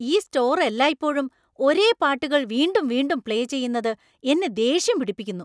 ഈ സ്റ്റോർ എല്ലായ്പ്പോഴും ഒരേ പാട്ടുകൾ വീണ്ടും വീണ്ടും പ്ലേ ചെയ്യുന്നത് എന്നെ ദേഷ്യം പിടിപ്പിക്കുന്നു .